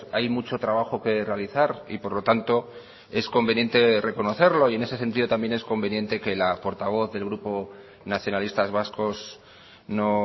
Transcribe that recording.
hay mucho trabajo que realizar y por lo tanto es conveniente reconocerlo y en ese sentido también es conveniente que la portavoz del grupo nacionalistas vascos no